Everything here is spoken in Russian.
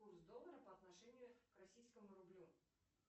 курс доллара по отношению к российскому рублю